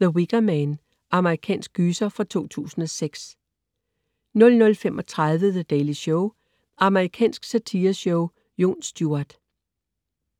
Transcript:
The Wicker Man. Amerikansk gyser fra 2006 00.35 The Daily Show. Amerikansk satireshow. Jon Stewart